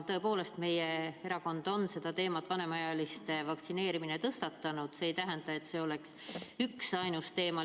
Tõepoolest, meie erakond on seda teemat – vanemaealiste vaktsineerimine – tõstatanud, aga see ei tähenda, et see oleks üksainus teema.